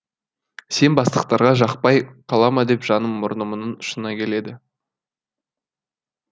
сен бастықтарға жақпай қала ма деп жаным мұрнымның ұшына келді